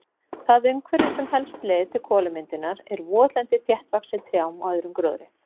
Það umhverfi sem helst leiðir til kolamyndunar er votlendi þéttvaxið trjám og öðrum gróðri.